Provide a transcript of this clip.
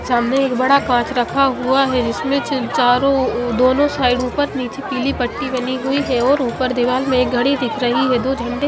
सामने एक बड़ा काच रखा हुआ है जिसमें च चारो ओ दोनों साइडो पर निचे पिली पट्टी बनी हुई है और ऊपर दीवाल में घडी दिख रही है दो झंडे--